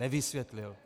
Nevysvětlil.